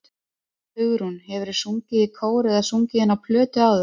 Hugrún: Hefurðu sungið í kór eða sungið inn á plötu áður?